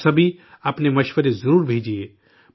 آپ سبھی، اپنے مشورے ضرور بھیجئے